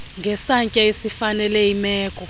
ngesantya esifanele imeko